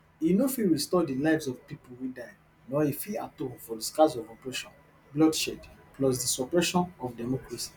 e no fit restore di lives of pipo wey die nor e fit atone for di scars of oppression bloodshed plus di suppression of democracy